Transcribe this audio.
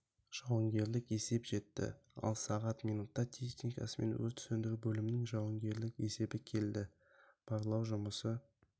жауынгерлік есеп жетті ал сағат минутта техникасымен өрт сөндіру бөлімінің жауынгерлік есебі келді барлау жұмысы